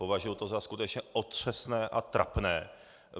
Považuju to za skutečně otřesné a trapné!